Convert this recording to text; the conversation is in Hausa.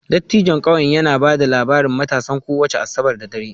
Dattijon ƙauyen yana ba da labarin matasan kowace Asabar da dare